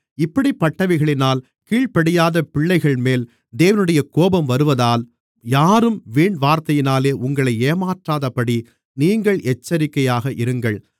இப்படிப்பட்டவைகளினால் கீழ்ப்படியாத பிள்ளைகள்மேல் தேவனுடைய கோபம் வருவதால் யாரும் வீண்வார்த்தைகளினாலே உங்களை ஏமாற்றாதபடி நீங்கள் எச்சரிக்கையாக இருங்கள்